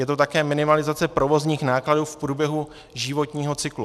Je to také minimalizace provozních nákladů v průběhu životního cyklu.